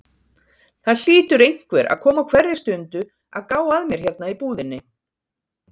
Það hlýtur einhver að koma á hverri stundu að gá að mér hérna í búðinni.